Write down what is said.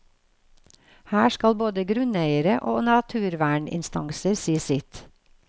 Her skal både grunneiere og naturverninstanser si sitt.